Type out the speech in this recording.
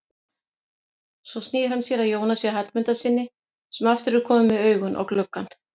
Svo snýr hann sér að Jónasi Hallmundssyni sem aftur er kominn með augun á gluggann.